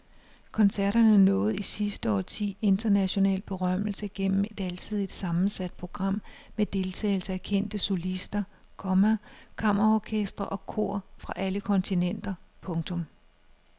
Koncerterne nåede i sidste årti international berømmelse gennem et alsidigt sammensat program med deltagelse af kendte solister, komma kammerorkestre og kor fra alle kontinenter. punktum